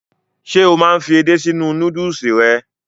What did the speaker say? Ṣe o máa n fí edé si inú núdùùsì rẹ?